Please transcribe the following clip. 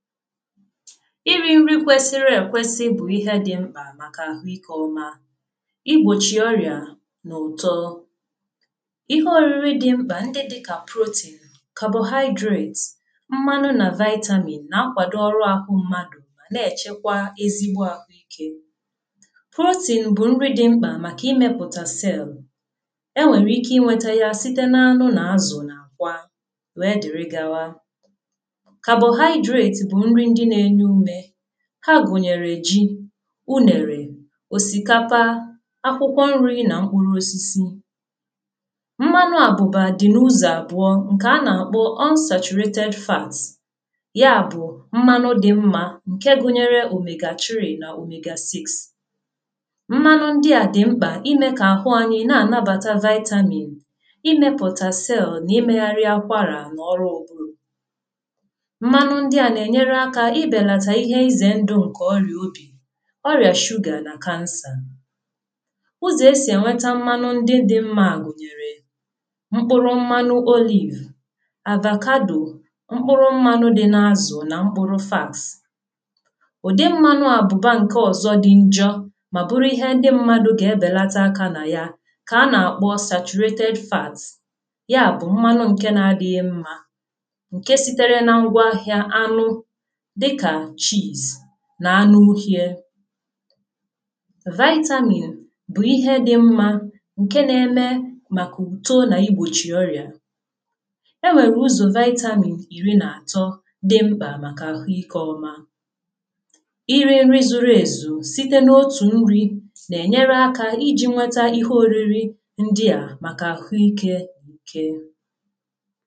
iri nri kwesịrị ekwesị bụ ihe dị mkpa màkà ahụ́ike ọ́ma, ịgbochị ọrịá nà ụ́tọ. Ihe ọrịịrị dị mkpa ndị dị ka protein, carbohydrates, mmanụ nà vitamin nà-akwado ọrụ ahụ́ mmadụ nà-echekwa ézigbó ahụ́ike. protein bụ nri dị mkpa màkà ịmepụta cell. E nwèrè ike ịnweta ya site n'anụ nà azụ nà ákwa wee dịrị gawa. carbohydrate bụ nri dị n'ènyè úmè. Ha gụnyere èjị, unèrè, òsìkapa, ákwụkwọ nri nà mkpụrụ ósísí. Mmanụ àbụ̀bà dị n'ụzọ̀ àbụ̀ọ́ ńkè a nà-àkpọ unsachuratėd fats, ya bụ̀ mmanụ dị mma ńkè gụnyere omega3 nà omega6. Mmanụ ndị à dị mkpa imè kà ahụ́ anyị nà-ànabàta vitamin, imepụta cell nà imegharị akwara nà ọrụ ọ́puru. Mmanụ ndị a nà-ènyèrè ákà ịbénàtà ihe ize ńdụ́ ńkè ọrịá óbi, ọrịá sugar nà cancer. Ụzọ̀ e sì weta mmanụ ndị dị ńmmà gụnyere mkpụrụ mmanụ olive, avacado, mkpụrụ mmanụ dị n'azụ nà mkpụrụ fats. Ụdị mmanụ àbụ̀bà ńkè ọzọ dị njọ́ mà bụrụ ihe ndị mmadụ̀ gà-ebelata ákà nà ya kà a nà-àkpọ saturated fat, ya bụ mmanụ ńkè nà-adịghị ńmmà ńkè sìtere nà ngwa ahịa anụ dị ka cheese nà anụ ụ́hị́é. vitamin bụ ihe dị mma ńkè nà-ème màkà útò nà ịgbochị ọrịá. E nwèrè ụzọ̀ vitamin iri nà àtọ́ dị mkpa màkà ahụ́ike ọ́ma. Ịrị nri zùrù èzù site n'òtù nri nà-ènyèrè ákà iji ńwàtà ihe ọrịịrị ndị a màkà ahụ́ike íké ké.